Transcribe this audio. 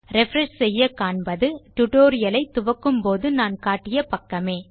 refresh செய்ய காண்பது tutorial ஐ துவங்கும்போது நான் காட்டிய பக்கமே